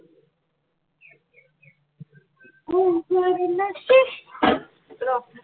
অহ বাৰ নাচি ৰ